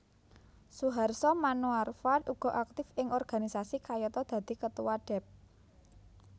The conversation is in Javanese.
Suharso Manoarfa uga aktif ing organisasi kayata dadi Ketua Dep